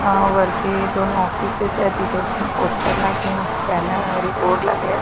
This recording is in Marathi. अ वरती दोन ऑफिसेस एत इथे पोस्टर लागलेला बॅनर अ बोर्ड लागलाय.